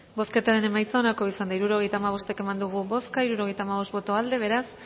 bozketaren emaitza onako izan da hirurogeita hamabost eman dugu bozka hirurogeita hamabost boto aldekoa beraz